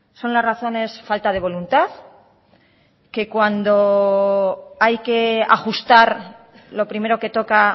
son las razones falta de voluntad que cuando hay que ajustar lo primero que toca